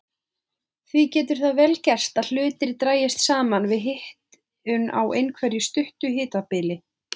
Því getur það vel gerst að hlutir dragist saman við hitun á einhverju stuttu hitabili.